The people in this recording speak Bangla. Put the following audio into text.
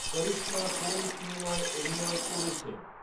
করিশ্মা কোন সিনেমায় অভিনয় করেছেন